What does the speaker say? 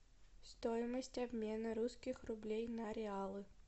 стоимость обмена русских рублей на реалы